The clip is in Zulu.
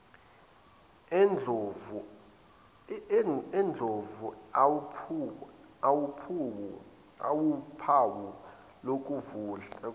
endlovu awuphawu lokuvunda